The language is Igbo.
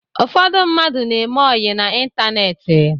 Ụfọdụ mmadụ na-eme ọyị n'ịntaneetị